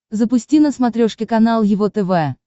запусти на смотрешке канал его тв